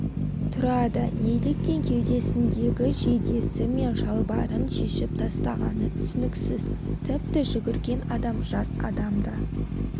тұрады неліктен кеудесіндегі жейдесі мен шалбарын шешіп тастағаны түсініксіз тіпті жүгірген адам жас адам да